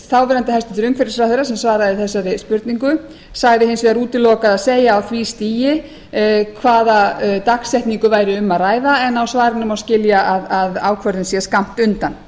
þáverandi hæstvirtur umhverfisráðherra sem svaraði þessari spurningu sagði hins vegar útilokað að segja á því stigi hvaða dagsetningu væri um að ræða en á svarinu má skilja að ákvörðun sé skammt undan